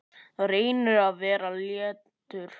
Reynir að vera léttur.